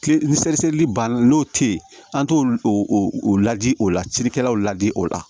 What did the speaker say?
Kile banna n'o tɛ ye an t'o o ladi o la cirikɛlaw la di o la